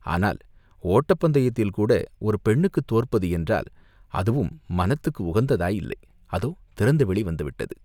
ஆனால் ஓட்டப் பந்தயத்தில் கூட ஒரு பெண்ணுக்குத் தோற்பது என்றால், அதுவும் மனத்துக்கு உகந்ததாயில்லை அதோ திறந்தவெளி வந்துவிட்டது.